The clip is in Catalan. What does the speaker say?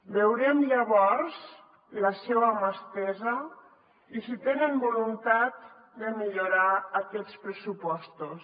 veurem llavors la seva mà estesa i si tenen voluntat de millorar aquests pressupostos